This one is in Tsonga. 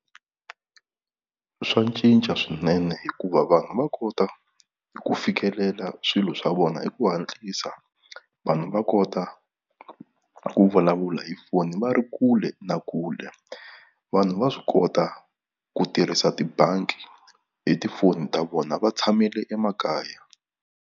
Swa cinca swinene hikuva vanhu va kota ku fikelela swilo swa vona hi ku hatlisa vanhu va kota ku vulavula hi foni va ri kule na kule vanhu va swi kota ku tirhisa tibangi hi tifoni ta vona va tshamile emakaya.